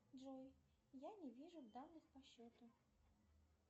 джой я не вижу данных по счету